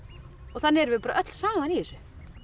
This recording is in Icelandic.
þannig eru við öll saman í þessu